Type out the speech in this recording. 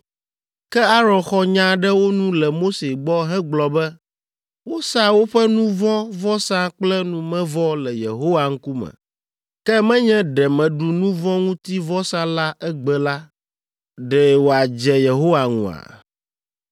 Ke Aron xɔ nya ɖe wo nu le Mose gbɔ hegblɔ be, “Wosa woƒe nu vɔ̃ vɔsa kple numevɔ le Yehowa ŋkume; ke nenye ɖe meɖu nu vɔ̃ ŋuti vɔsa la egbe la, ɖe wòadze Yehowa ŋua?”